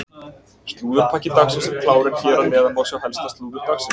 Slúðurpakki dagsins er klár en hér að neðan má sjá helsta slúður dagsins.